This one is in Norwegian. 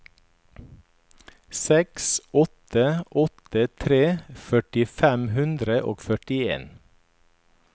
seks åtte åtte tre førti fem hundre og førtien